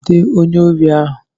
Jide onye órí ahụ!